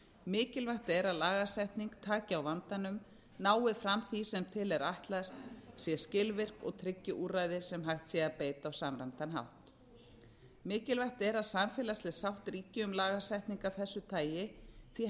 mikilvægt er að lagasetning taki á vandanum nái fram því sem til er ætlast sé skilvirk og tryggi úrræði sem hægt sé að beita á samræmdan hátt mikilvægt er að samfélagsleg sátt ríki um lagasetningu af þessu tagi því